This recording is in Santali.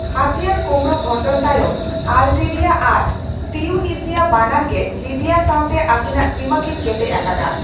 ᱦᱟᱹᱛᱤᱭᱟᱹᱨ ᱠᱳᱢᱲᱳ ᱜᱷᱚᱴᱚᱱ ᱛᱟᱭᱚᱢ ᱟᱞᱡᱤᱨᱤᱭᱟ ᱟᱨ ᱛᱤᱣᱩᱱᱤᱥᱤᱭᱟ ᱵᱟᱱᱟᱨ ᱜᱮ ᱞᱤᱵᱤᱭᱟ ᱥᱟᱣᱛᱮ ᱟᱹᱠᱤᱱᱟᱜ ᱥᱤᱢᱟᱹ ᱠᱤᱱ ᱠᱮᱴᱮᱡ ᱟᱠᱟᱫᱟ ᱾